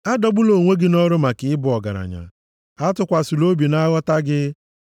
Adọgbula onwe gị nʼọrụ maka ịbụ ọgaranya, atụkwasịla obi na nghọta gị. + 23:4 Maọbụ, ịdị nkọ gị